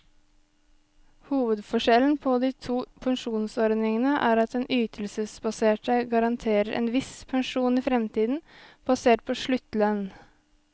Hovedforskjellen på de to pensjonsordningene er at den ytelsesbaserte garanterer en viss pensjon i fremtiden, basert på sluttlønn.